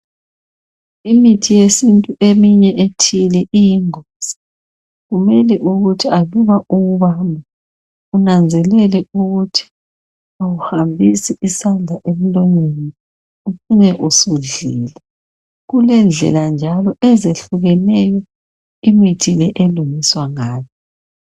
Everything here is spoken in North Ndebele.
Imithi yesintu eminye ethile iyingozi kumele ukuthi aluba uyibamba unanzelele ukuthi awuhambisi isandla emlonyeni ucine usudlile kulendlela njalo ezehlukeneyo imithi elungiswa ngayo.